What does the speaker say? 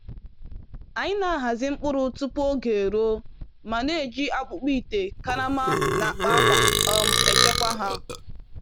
Anyị na-ahazi mkpụrụ tupu oge eruo ma na-eji akpụkpọ ite, karama, na akpa akwa um echekwa ha.